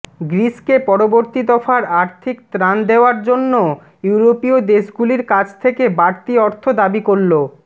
গ্রিসকে পরবর্তী দফার আর্থিক ত্রাণ দেওয়ার জন্য ইউরোপীয় দেশগুলির কাছ থেকে বাড়তি অর্থ দাবি করল